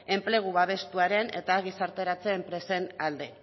enplegu babestuaren eta gizarteratze enpresen alde